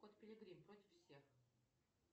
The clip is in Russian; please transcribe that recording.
кот пилигрим против всех